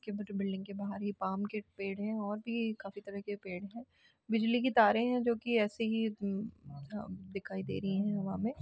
क्या पता बिल्डिंग के बाहर यह पाम के पेड़ हैं और भी काफी तरह के पेड़ हैं बिजली की तारे हैं जो की ऐसे ही हम्म अ दिखाई दे रही हैं हवा में --